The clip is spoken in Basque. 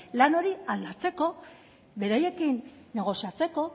lan hori aldatzeko beraiekin negoziatzeko